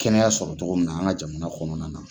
Kɛnɛya sɔrɔ cogo min na an ka jamana kɔnɔna na.